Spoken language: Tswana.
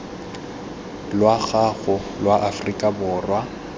lwa gago lwa aforika borwa